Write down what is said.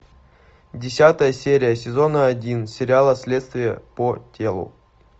десятая серия сезона один сериала следствие по телу